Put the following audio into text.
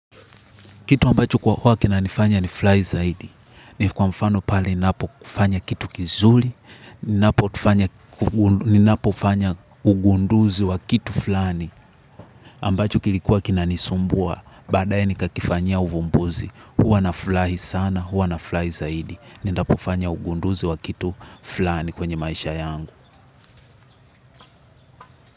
Kitu ambacho kwa huwa kinanifanya ni furahi zaidi. Ni kwa mfano pale ninapo kifanya kitu kizuri, ninapo kifanya ugunduzi wa kitu fulani. Ambacho kilikuwa kinanisumbua, baadae ni kakifanya uvumbuzi. Huwa nafurahi sana, huwa nafurahi zaidi. Ninapo kufanya ugunduzi wa kitu fulani kwenye maisha yangu.